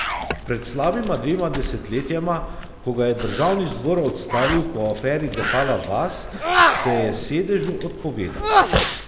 Pred slabima dvema desetletjema, ko ga je državni zbor odstavil po aferi Depala vas, se je sedežu odpovedal.